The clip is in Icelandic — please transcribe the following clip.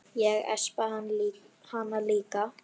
Ég espa hana líka.